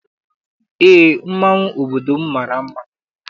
Eé, mmanwụ obodo m mara mma.